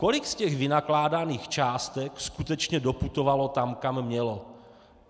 Kolik z těch vynakládaných částek skutečně doputovalo tam, kam mělo?